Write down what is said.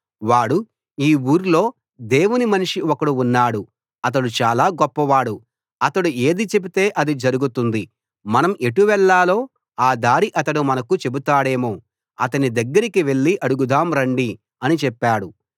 వాడు ఈ ఊర్లో దేవుని మనిషి ఒకడు ఉన్నాడు అతడు చాలా గొప్పవాడు అతడు ఏది చెపితే అది జరుగుతుంది మనం ఎటు వెళ్ళాలో ఆ దారి అతడు మనకు చెబుతాడేమో అతని దగ్గరకి వెళ్ళి అడుగుదాం రండి అని చెప్పాడు